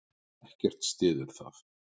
Ekkert styður það.